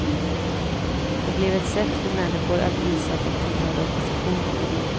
Det blev ett sätt för människor att visa att de tillhörde oppositionen.